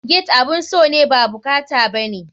Gate abun so ne ba bukata bane.